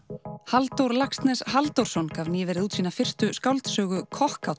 Halldór Laxness Halldórsson gaf nýverið út sína fyrstu skáldsögu